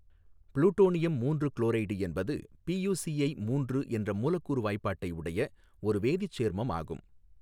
Plutonium மூன்று chloride என்பது P U C I மூன்று என்ற மூலக்கூறு வாய்பாட்டை உடைய ஒரு வேதிச் சேர்மம் ஆகும்.